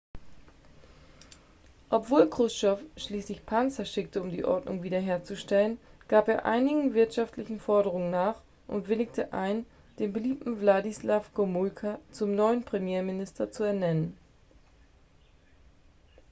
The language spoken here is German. obwohl kruschtschow schließlich panzer schickte um die ordnung wiederherzustellen gab er einigen wirtschaftlichen forderungen nach und willigte ein den beliebten wladyslaw gomulka zum neuen premierminister zu ernennen